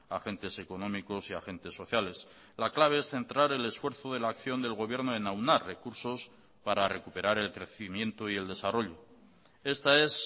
agentes económicos y agentes sociales la clave es centrar el esfuerzo de la acción del gobierno en aunar recursos para recuperar el crecimiento y el desarrollo esta es